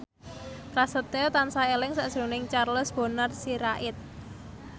Prasetyo tansah eling sakjroning Charles Bonar Sirait